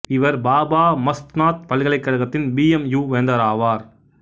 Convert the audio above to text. இவர் பாபா மஸ்த்நாத் பல்கலைக்கழகத்தின் B M U வேந்தராவார்